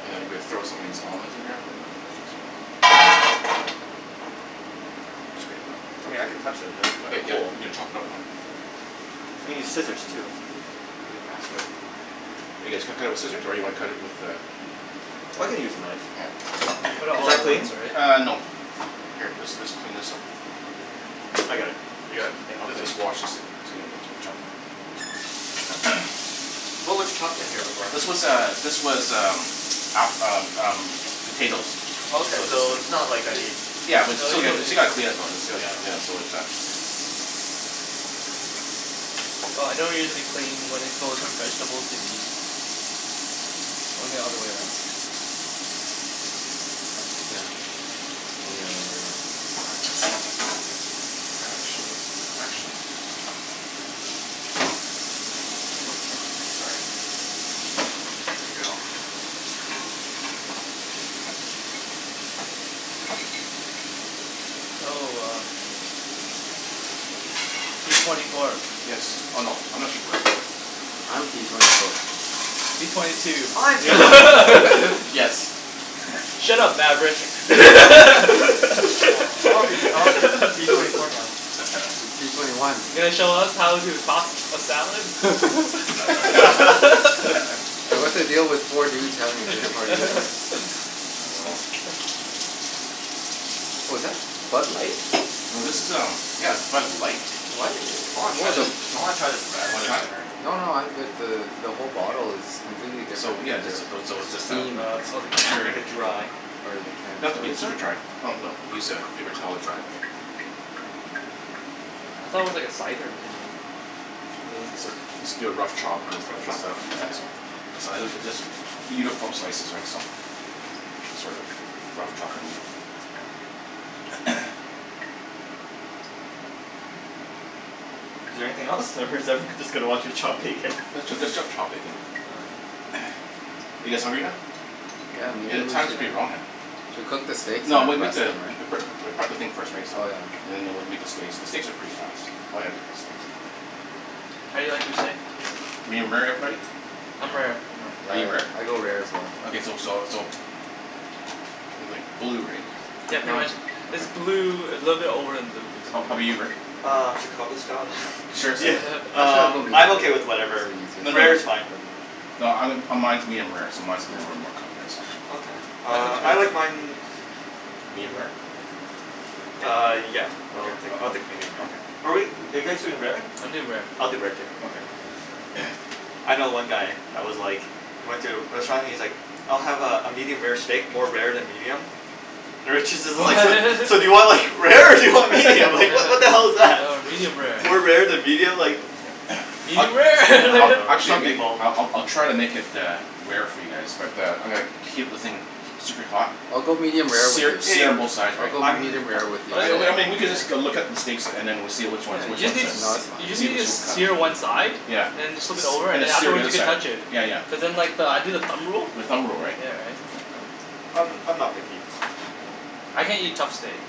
and then you gonna be- throw some of these almonds in here. I mean I can touch them, Okay. they're Yeah you need to chop it up now. We need scissors too. It'd be faster. You guys cu- cut it with scissors? Or you wanna cut it with uh I can use a knife. Yeah. Put it Is all that at clean? once, right? Uh, no. Here this this clean this up. Okay. I got it. You Yeah, got it? I'll clean Just just wash this thing. What was chopped in here before? This was uh this was um app- um um potatoes. Okay, So so just it's not like I need Yeah but No, still you got- don't still need gotta clean it though, it's gotta, Yeah. yeah, so it's not Well I don't usually clean when it goes from vegetables to meat. Only the other way around. Yeah. Only the other way around. Actually. Actually. Sorry. There we go. Oh uh p twenty four. Yes. Oh no. I'm not p twenty four. I'm p twenty four. P twenty two. I'm p twenty four. Yes. Shut up Maverick. Aw I wanna spea- I wanna speak with p twenty four now. P twenty one. You gonna show us how to toss a salad? And what's the deal with four dudes having a dinner party What was that? Bud Light? No this is um, yeah, Bud Light, What? I wanna try What the this the I wanna try this radler wanna try? later. No no, I'm good. The the whole bottle is completely So different yeah, than just, their those, so it's just a. theme. Uh Oh, the Make can? it's, sure. like a dry. Or their Doesn't can, have to sorry. be Is super it? dry. Oh no, use a paper towel to dry. I thought it was like a cider or something. Let's do a rough chop put this Rough into chop? stuff, yeah Okay. so. So I literally just Uniform slices right so. Sorta, rough chopping Is there anything else or is everyone just gonna watch me chop bacon? Let's ju- let's just chop bacon. Are you guys hungry now? Yeah, Hey maybe the we time's should pretty wrong uh. Should we cook the steaks No and we'll then make rest the, them pre- right? pre- prep the thing first right so Oh yeah, no no. and then we'll make the steaks, the steaks are pretty fast. I'm gonna cook the steaks. How do you like your steak? Medium rare, everybody? I'm rare. Are Yeah, you rare? I go rare as well. Okay so so so But like blue, right? Yeah pretty No. much, is blue, a little bit over than blue How how 'bout basically. you Rick? Uh Chicago style yeah, Seriously? Actually I'll um go I'm medium rare. okay with It's whatever, the easier No no, rare is fine. no, um mine mine is medium rare so mine's mine's gonna be more more cooked right so. Okay, uh I like mine Medium rare? Uh yeah, I'll take, I'll Okay. take medium rare. Okay. But wait, are you guys doing rare? I'm doing rare. I'll do rare too. Okay. I know one guy that was like, he went to a restaurant and he's like, "I'll have uh a medium rare steak, more rare than medium." The waitress is Oh like "So so do you want like rare, or do you want medium, like what the hell is that?" medium rare. More rare than medium, like Yeah. I Medium rare Oh I'll no, like actually some people I'll I'll try to make it uh rare for you guys but uh I'm gonna keep the thing keep super hot, I'll go medium rare with sear you, Hey, sear on both sides I'll right. go I'm medium rare with you I so w- I mean we could just go look up the steaks and then we'll see which Yeah, ones, which you just one's need that, to No, s- that's , you fine. just see need which to we'll cut. sear one side, Yeah. and then just flip it S- over and and then sear the afterwards other you can side. touch it, Yeah yeah. cuz then like I do the thumb rule. The thumb rule, right. Yeah right. I'm I'm not picky. I can't eat tough steak.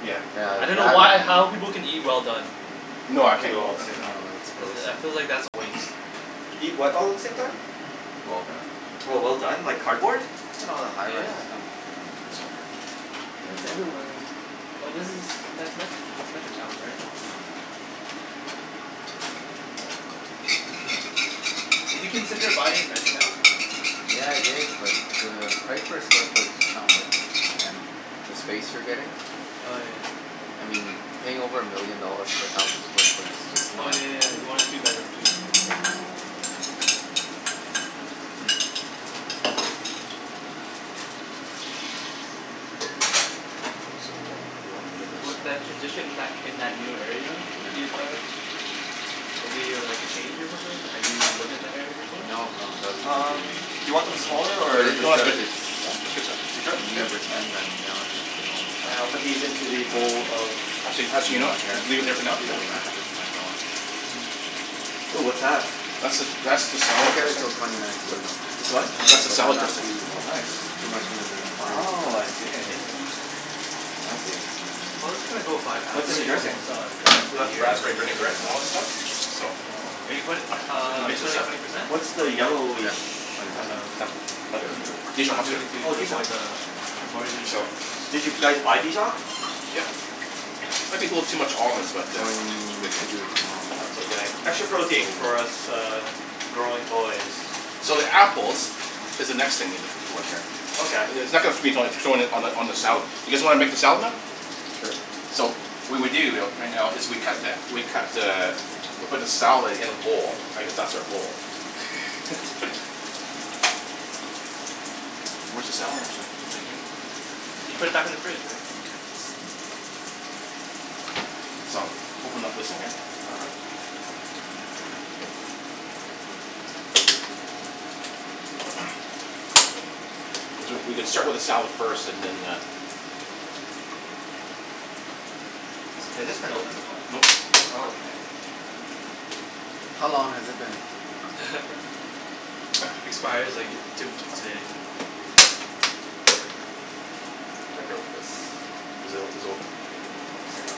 Yeah. Yeah, I dunno why or how that people can eat well done. No, Do I can't it eat all well at the done. same No, time. it's gross. I I feel like that's a waste. Eat what all at the same time? Well done. Oh well done, like cardboard? Look at all the high rises Yeah. coming up. I'm gonna heat this up here. Yeah it's everywhere um But this is, that's Me- that's Metrotown right? Yeah. Yep. Did you consider buying in Metrotown? Yeah I did, but the price per square foot is just not worth it and the space you're getting, Oh yeah. I mean paying over a million dollars for a thousand square foot is just Oh not. yeah yeah yeah. Yeah. You wanted a two bedroom too. What, that, transition in that in that new area, would be Yeah. at uh Will be uh like a change or something? Have you lived in that area before? No, no, that'll be Um completely new to do me. you want Oh them smaller okay. But or it, is this No, it's that's good. good? good. It's Yeah? That's that's good size. Are you sure? near Yep. All right. Richmond. I'm down in Richmond all the And I'll time, put these into the um bowl of Actually actually, you Near know my what? I can parents' leave it there place. for I now. Yeah? can go back, Okay. visit my dogs. Ooh what's that? That's the, that's the salad Won't get it dressing. til twenty nineteen though, It's what? That's the but I'm salad not dressing. too Oh nice. too much of in a hurry for Oh, I that see. so Fancy. Well it's gonna go by fast, What's we're in the already dressing? almost uh done Yeah, the That year raspberry vinaigrette and all yeah. that stuff. So Are Oh. you put- We can uh are you mix this putting up. twenty percent? What's The the yellowish Yeah. Twenty kind percent. of, butter Dijon I'm mustard. doing or? it to Oh, to Dijon. avoid the Okay. the mortgage So insurance. Did you guys buy Dijon? Yep. Okay. Let people have too much almonds but I'm uh going to do it tomorrow. That's okay. Extra protein for us uh growing boys. So the apples is the next thing we need to Okay. I- it's not gonna on the on the salad. You guys wanna make the salad now? Sure. So, what we do though right now is we cut that, we cut the, we put the salad in a bowl. I guess that's our bowl. Where's the salad mixer? Is it here? You put it back in the fridge Rick. Okay. So open up this one here. All right. We c- we can start with the salad first, and then uh Has this been opened before? Nope. Oh, okay. How long has it been? Expires like to- today. There we go. I broke this. Is it o- is it open? No, it's Here. not.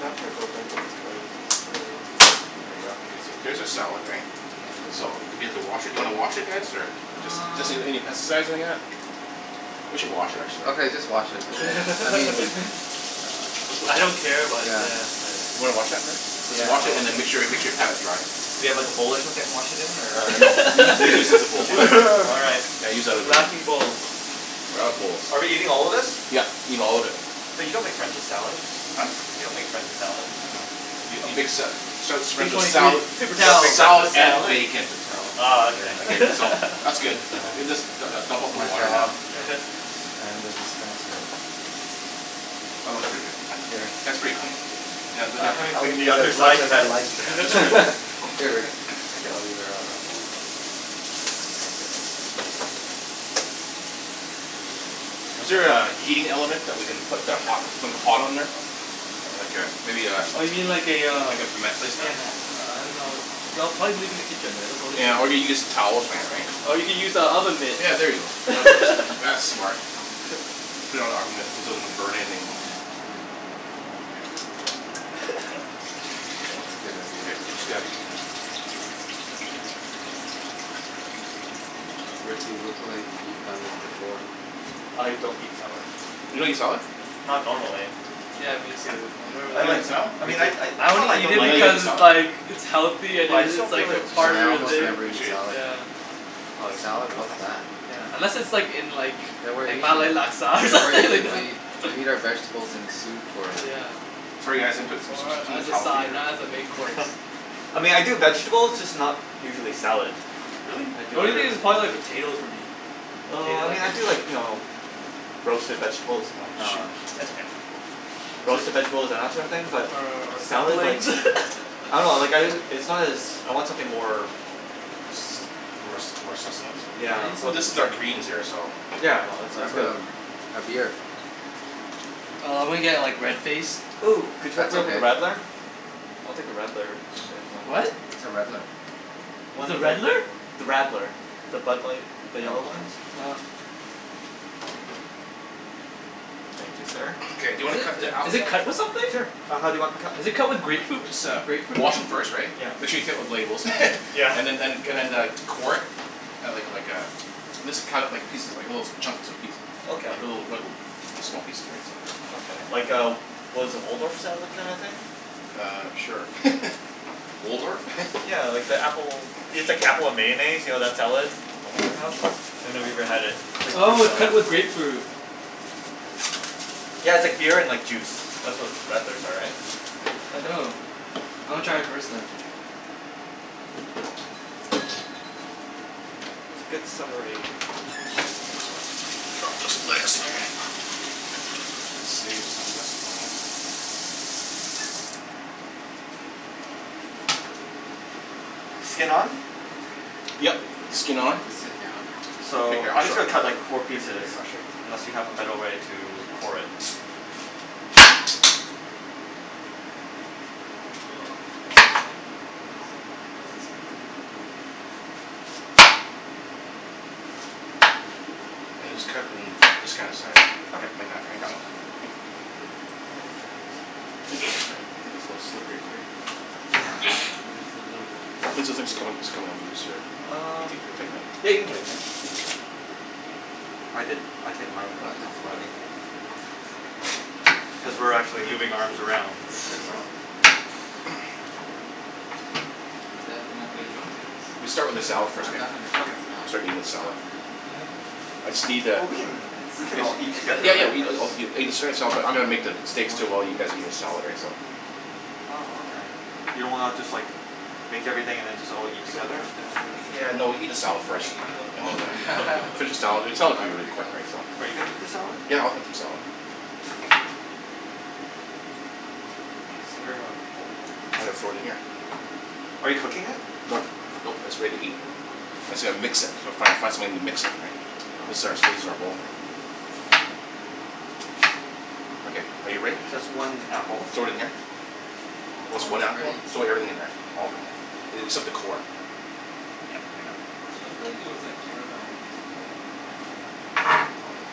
That part's open, but this part is just really, there we go. There's a salad right? So do we have to wash it, do you wanna wash it guys or? Just Um doesn't need any pesticides or anything like that. We should wash it actually. Okay just wash it, I mean, Let's uh, just I wash don't it. care, but yeah. yeah. Wanna wash that man? Just Yeah, wash it I'll wash and then that. make sure make sure you pat it dry. Do you have like a bowl or something to wash it in or? Uh, no, you you just need the bowl. All right. Yeah, use that other The laughing one. bowl. We're out of bowls. Are we eating all of this? Yep, eat all of it. But you don't make friends with salad. Huh? You don't make friends with salad. I dunno. Y- you make sa- sa- sa- P friends twenty with three. sala- Paper You don't towel. make friends salad with and salad. bacon. Paper towel. Oh okay. Yeah. Okay so, that's good. Paper towels. Just du- du- dump out It's the my water now. job. Yeah. I am the dispenser. That works for you guys. Here. That's pretty clean. Yeah, then I I can haven't I'll cleaned the use other as much side of as I that. like. Here, Here lick Rick. it. Lick it. I'll leave it right here. You Is want there my a heating element that we can put the hot hot on there? Like a, maybe a Oh you mean like a uh, Like a mat placement. yeah ma- uh I dunno. No, probably leave it in the kitchen. That's the only thing Yeah I can or we get some towel or something right. Or you can use the oven mitt. Yeah, there you go. That works. That's smart. Put it on an oven mitt so it doesn't burn anything. That's a good idea. Okay, I just got Rick, you look like you've done this before. I don't eat salad. You don't eat salad? Not normally. Yeah, me too. I've never I You really like, don't I like Me mean I too. I, I it's not that only I eat don't it like it. because like it's salad? like it's healthy and But I just it's don't feel like like a Yeah, part I of the almost thing. never eat salad. Yeah. Oh, yes. Salad, Oh, what's nice. that? Yeah. Unless it's like in like Yeah we're eating, Malay laksa or yeah we're something like eating the, that. we eat our vegetables in soup or Yeah. Sorry guys, I'm gonna put s- s- s- s- Or s- some of as the a salad food side, here. not as a main course. I mean I do vegetables, just not usually salad. Really? I The do only other thing is vegetables probably like first. potatoes for me. Oh I Potatoes I mean I can do eat. like, you know roasted vegetables, Oh, uh, shoot. that's okay. Roasted vegetables and that sort of thing, but Or or salad, like dumplings? I dunno, like, I, it's not as, I want something more More s- s- , more sustenance? yeah. I need Well some this is our greens here so. Yeah, no it's it's Grab good. a a beer. Nah, I'm gonna get like red faced. Ooh, could you hook That's me up with a okay. radler? I'll take a radler, if there is one. What? What's a redler? What's One a of the, redler? the radler. The Bud Light, the yellow Oh. one? Oh. Thank you sir. Okay do you wanna cut the Is apples it now? cut with something? Sure, uh how do you want them cut? Is it cut with grapefruit, Just uh grapefruit or wash 'em something? first right. Yeah. Make sure you take off the labels. Yeah. And then and and then uh core it, like like a mis- cut it like little pieces, like little chunks and piece. Okay. Like little small pieces right Okay, so. like a, what is it, Waldorf style kind of thing? Uh, sure. Waldorf? Yeah like the apple, Oh it's sh- like apple and mayonnaise, you know that salad that Oh people okay. have? I've never even had it. It's like a fruit Oh, it's salad. cut with grapefruit. Yeah, it's like beer and like juice. That's what radlers are, right? I think. Oh. I wanna try it first then. It's a good summery Gonna save some of this, why not? Skin on? Yep. Okay. Skin Yeah, on. I'll just sit down. Here So, here, I'm I'll just gonna show cut It's like fine. four pieces, Here, I'll show unless you. you have a better way to core it. The people who are watching are like, "What what does, what is this oompa loompa doing?" And then just cut it in this kind of size. Okay. Like that, right so. Yeah, it's like juice. Is it? I think it's a little It's grape- slippery it's here. grapefruit. Yeah. Ah. Yeah it's a little bit, it tastes like it's beer coming it's afterwards. coming on loose or? Um. Think Yeah, I you can can tighten it? tighten it. Ah. I did, I tightened mine I'm a glad couple there's times a lot already. of beer. Cuz It's we're like actually three moving arms cases? I around mean, that's a lot of beer. Can definitely Wanna play s- drunk tennis? We'll start with the Drunk salad first, I've eh? done tennis. that before, Okay. it's not Start eating the it's salad. not pretty. I just need a Well, we can That's we so can all eat in! together Yeah right? yeah, but I'm No, going make the i- it's steaks more too so while you me guys eat just the salad, missing the right so. ball. Oh, okay. You don't wanna just like make everything and then just all eat You're so together? drunk that afterwards like Yeah people no, keep, eat the you keep salad first, playing even though the and then balls the. all go Finish the salad, the No, salad will I be don't really think quick I'll right ever so. get to Are you that gonna point. eat the salad? Yeah, I'll have some salad. Okay. Is there a bowl? I'm gonna throw it in here. Okay. Are you cooking it? Nope, nope, it's ready to eat. I said I'll mix it. Gotta fi- fi- find something to mix it right. This is ours, this is our bowl here. Okay. Are you ready? So that's one apple. Throw it in here. Oh Oh it's so one almost apple one? ready. Throw everything in here. Look at All. that. Oh except the core. Yeah. I got it. It looked like it was like caramel or something. Like the actual sauce and stuff. Oh yeah.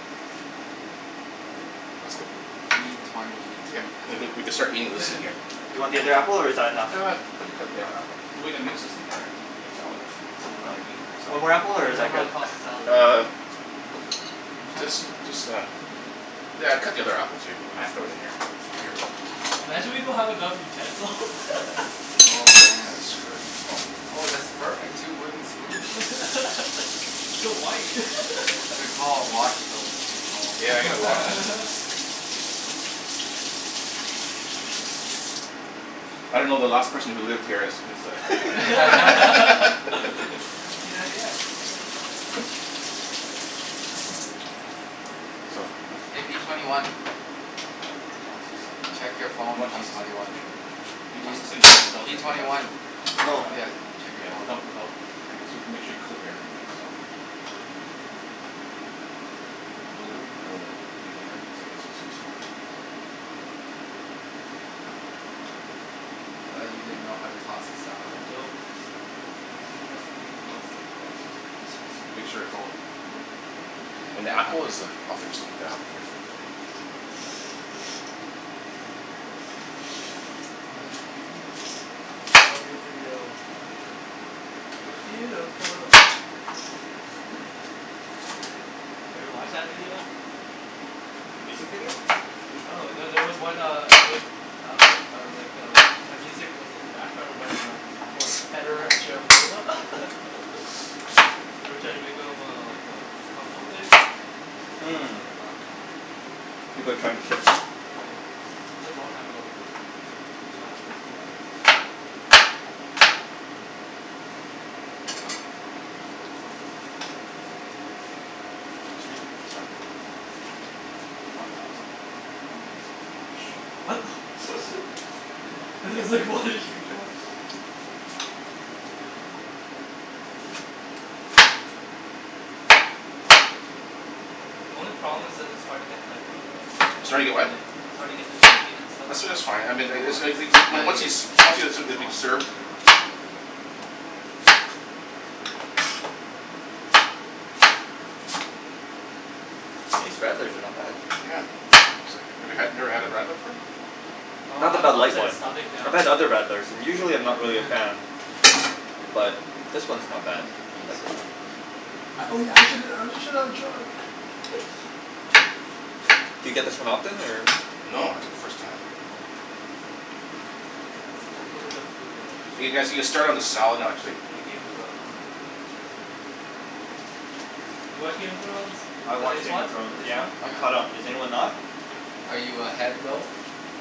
That's good. P twenty Yep. two has We done we this can start eating before. this in here. Do you want the other apple or is that enough? Ah, put the, cut the other app- so we're gonna mix this thing here right, just, just the salad dressing that's underneath it, right so. One more apple I or is don't know that how good? to toss the salad. Uh, just, just uh, yeah cut the other apple too, we can throw it in here. Imagine we don't have enough utensils. Oh man. That's screwed. Oh, that's perfect. Two wooden spoons. It's so white. Good call. Wash those. Good call. Yeah, I gotta wash. I don't know, the last person who lived here is is a p ninety x, p ninety x. So Hey, P twenty one. Toss this thing here. Check your You phone, wanna P toss this thing? twenty one. Jimmy, can you P P toss this thing without without P making a twenty mess? one. I'll Oh. try. Yeah. Without without, this was, make sure you coat everything right, so. Like go go deep in there cuz like there's some stuff in there, right? So. I thought you didn't know how to toss a salad. I don't. He's entrusting me in tossing. Yeah, it's easy. Just just make sure it's all ma- , and Yeah. and the Get apple is under. a, I'll fix, yeah My view. No view for you. Damn. You're beautiful. Have you watched that video? The music video? Oh no. There was one uh, it was uh uh, like uh, that music was in the background when uh, for Federer and Sharapova they're trying to make them uh like uh couple like, I Hmm. was like laughing my ass off. People are trying to shit them? Yeah. It was like long time ago though. I mean back in like two thousand and three. Excuse me. Sorry. Keep on tossing. Keep on tossing. Whoa, shoot. What the I was like, what are you doing? The only problem is that it's hard to get like the the It's hard to get bacon what? a- it's hard to get the bacon and stuff. I said it's fine. I mean It it was. The idea is to distribute the sauce served. and later on you can divvy up the the rest of it. These radlers are not bad. Yeah. It's like, we had, you've never had a radler before? Oh, Not I the have a Bud Light upset one. stomach I've now. had other I radlers and was usually drinking I'm not it. really a fan. You gonna quit? But this one Damn, is I not think I bad. need to pee I like this soon. one. Oh yeah. I shouldn't, I shouldn't have drunk. Do you get this one often or? No, first time. I think that's Uh pretty good. hopefully, the food will You guys, you like can start distract on the me. salad I actually. think Game of Thrones will distract me. Yeah. You watch Game of Thrones? I The watch latest Game one? of The Thrones. latest Yeah. one? I'm caught up. Is anyone Here. not? Are you ahead though?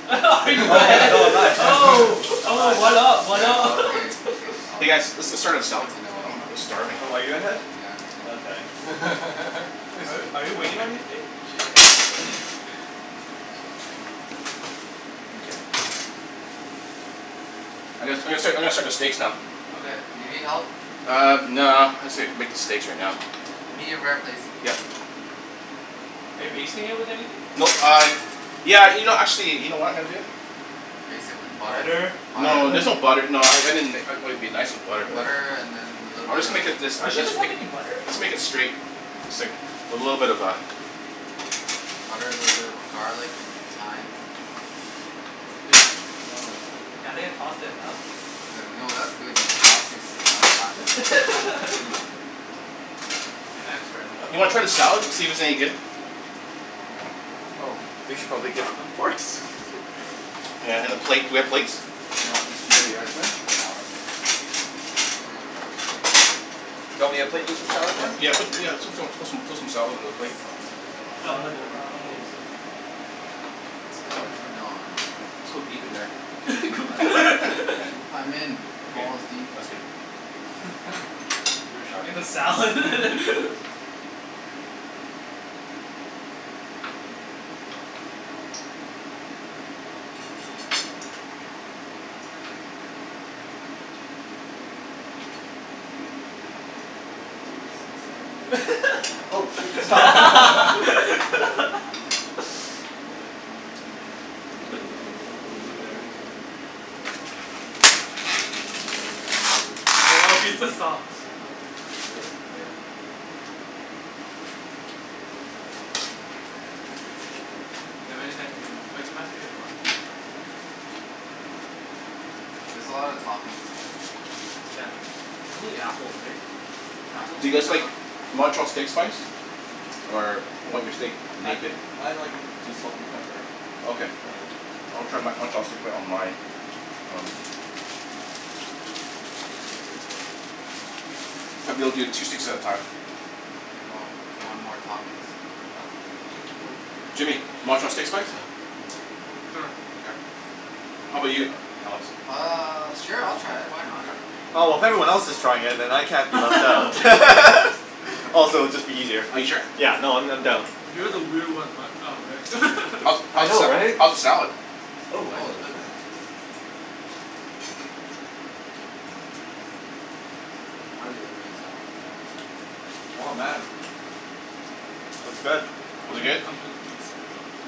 Are you Oh ahead, no, I'm not ahead. oh, I'm not oh, ahead. what up, what Oh up? okay. Okay. All Hey guys, right. let's let's start with salad. Good to know. I'm I'm starving. Oh, are you ahead? Yeah, I'm ahead. Okay. Are you are you waiting on anything? Shit. I'm gonna I'm gonna start I'm gonna start the steaks now. Okay. Do you need help? Uh, no, I'm just gonna, I'll make the steaks right now. Medium rare, please. Yep. Are you basting it with anything? Nope uh, yeah, you know actually, you know what I'm gonna do? Baste it with butter? Butter? No, there's no butter. No, I I mean like it it'd be nice with butter but Butter and then a little I'm bit just of gonna make it this uh Wait, she that's doesn't have make any butter? I'll just make it straight. It's like a little bit of a Butter, little bit of garlic and thyme. This. No. Yeah I think I tossed it enough. No no, that's good. You've been tossing it for the last five minutes so I'm expert Do now. you wanna try the salad to see if it's any good? Oh, we should probably give them forks. Yeah and a plate. Do we have plates? Here, I'll Here you distribute are, the sir. the salads. Do you want me to Oh, put you that's some the salad, Don? sauce. Yeah. Put, yeah, put some put some salad on the plate. Salt from tossed I'll salad. Salad move for over. I'll Donald move please. over. Salad for Don. Just go deep in there. I'm in. Okay. Balls deep. That's good. Give it a shot. In the salad? Oh, thank you. I'm gonna keep going until he says stop. Oh, shoot. That's Stop. hilarious. Keep going until. This is yours Jimmy. I'll Oh, he take that one. said stop. Really? Yeah. Okay. That means I can get more. Oh, can you pass me a fork? Oh, here you are, sir. There's a lot of toppings left. Yeah. And only apple, right? Do you Apples. guys like Montreal steak spice? Or you want your steak I naked? I like just salt and pepper. Okay. But I'll try Mon- Montreal steak on my. Oh. I'll be able to do two steaks at a time. Anyone w- want more toppings? I'm okay. I'm good. Jimmy, Montreal steak spice? Sure. K. How about you Alex? Uh, sure I'll try it, why not? Okay. Be Oh, if everyone adventurous else is for one trying day. it then I can't be left Oh, out. peer pressure. Peer pressure. Also, it'd be just easier. Are you sure? Yeah. No, I'm I'm down. You're the weird one, Matt, uh Rick. I How's the know, sa- right? how's the salad? Oh, I'm Oh, it's gonna good. try it. I hardly ever eat salad though. Uh huh. Oh, man. It's good. Is it Only if good? it comes with a moose head or something.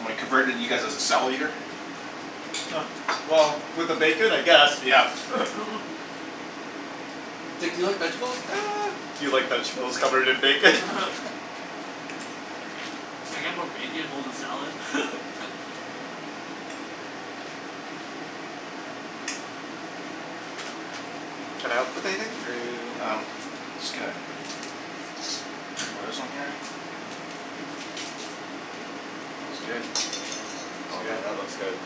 Am I converted you guys as a salad eater? Well, with the bacon I guess. Yeah. It's like, do you like vegetables? Do you like vegetables covered in bacon? Can I get more bacon, hold the salad? Can I help with anything or are you Um, It's good. I'll put this on here. It's good. Oh man, that looks good.